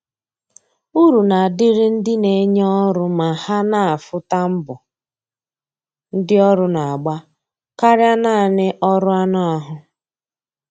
Uru na adịrị ndị na enye ọrụ ma ha na afụ ta mbọ ndi ọrụ na agba karịa naanị ọrụ anụ ahụ